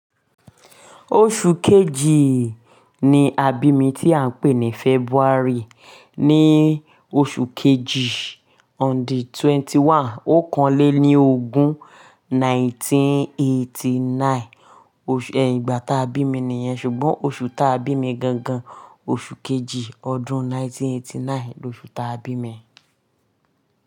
Oṣù kejì ni a bí mi tí à ń pè ní February. Ni oṣù kejì on the twenty one. O kan lé ní ogún nineteen eighty nine. Ẹ ìgbà táa bí mi nìyẹn, ṣùgbọ́n oṣù táa bí mi gan gan, oṣù kejì ọdún nineteen eighty nine loṣù táa bí mi.